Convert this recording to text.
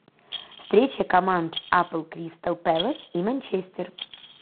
встреча команд апл кристал пэлас и манчестер